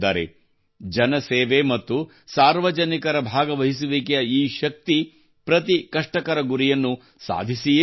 ಜನ ಸೇವೆ ಮತ್ತು ಸಾರ್ವಜನಿಕರು ಭಾಗವಹಿಸುವಿಕೆಯ ಈ ಶಕ್ತಿ ಪ್ರತಿ ಕಷ್ಟಕರ ಗುರಿಯನ್ನು ಸಾಧಿಸಿಯೇ ತೋರುತ್ತದೆ